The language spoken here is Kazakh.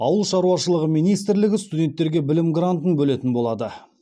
ауыл шаруашылығы министрлігі студенттерге білім грантын бөлетін болады